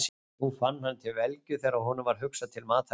Nú fann hann til velgju þegar honum varð hugsað til matarins.